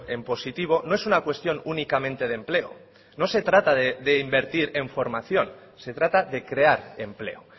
en positivo no es una cuestión únicamente de empleo no se trata de invertir en formación se trata de crear empleo